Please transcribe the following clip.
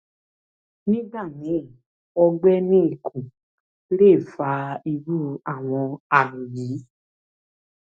nígbà míì ọgbẹ ní ikùn lè fa irú àwọn àmì yìí